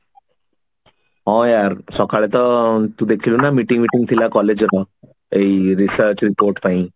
ହଁ ୟାର ସଖାଳେ ତ ତୁ ଦେଖିଲୁ ନା meeting ଫିଟିଙ୍ଗ ଥିଲା collage ରେ କଣ ଏଇ research report ପାଇଁ